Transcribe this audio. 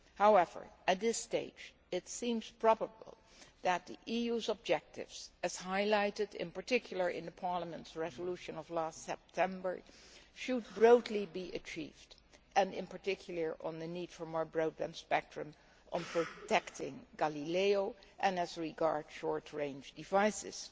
However, at this stage it seems probable that the EU's objectives, as highlighted in particular in Parliament's resolution of last September, should broadly be achieved, particularly those on the need for more broadband spectrum, on protecting Galileo, and on short range devices.